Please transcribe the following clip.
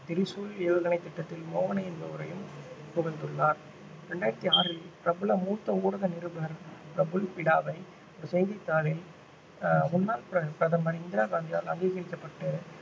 திரிசூல் ஏவுகணை திட்டத்தில் மோகனை என்பவரையும் புகழ்ந்துள்ளார் இரண்டாயிரத்தி ஆறில் பிரபல மூத்த ஊடக நிருபர் பிரபுல் பிடாவை செய்தித்தாளில் ஆஹ் முன்னாள் பிர~ பிரதமர் இந்திரா காந்தியால் அங்கீகரிக்கப்பட்டு